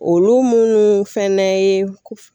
Olu munnu fɛnɛ ye